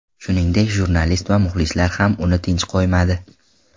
Shuningdek, jurnalist va muxlislar ham uni tinch qo‘ymadi.